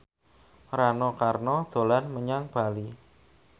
Rano Karno dolan menyang Bali